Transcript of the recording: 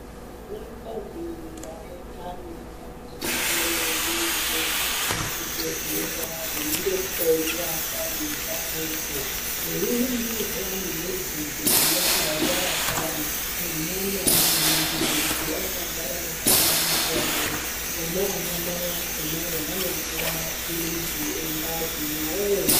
Vanakadzi vane ndani vanosisire kuende kuzvibhedhlera, veindohloiwa ndani dzavodzo, veiningirwa kuti nemwedzi yaka yaapari, nemwana unoningirwe kuti akagara zvakanaka ere, Ona anamai akhonawo anopuwa maphilizi engazi neamweni